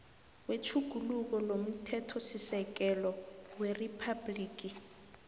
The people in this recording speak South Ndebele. wetjhuguluko lomthethosisekelo weriphabhligi